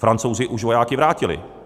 Francouzi už vojáky vrátili.